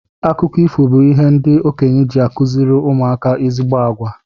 Akụkọ ifo bu ihe ndị okenye ji akuziri ụmụ aka ezigbo àgwà.